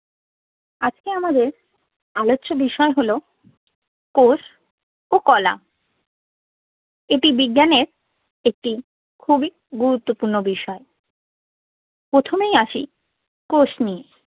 আজকে আমাদের আলোচ্য বিষয় হলো কোষ ও কলা। এটি বিজ্ঞানের একটি খুবই গুরুত্বপূর্ণ বিষয়। প্রথমেই আসি কোষ নিয়ে।